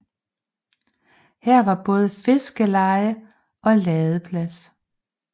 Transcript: Her var både fiskeleje og ladeplads